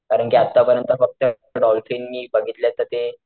कारण कि आटा परियंत फक्त डॉल्फिन मी बघितलेत तर ते,